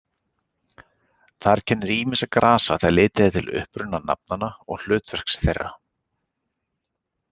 Þar kennir ýmissa grasa þegar litið er til uppruna nafnanna og hlutverks þeirra.